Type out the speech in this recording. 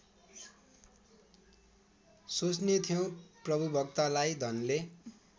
सोच्नेथ्यौ प्रभुभक्तलाई धनले